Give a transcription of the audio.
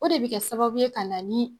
O de bi kɛ sababu ye kana ni